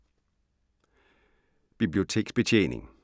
Biblioteksbetjening